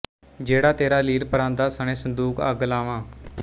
ਜਿਹੜਾ ਤੇਰਾ ਲੀਰ ਪਰਾਂਦਾ ਸਣੇ ਸੰਦੂਕ ਅੱਗ ਲਾਵਾਂ